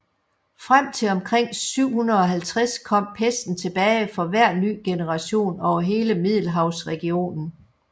Frem til omkring 750 kom pesten tilbage for hver ny generation over hele middelhavsregionen